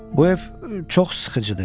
Bu ev çox sıxıcıdır.